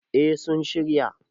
eh sun shirya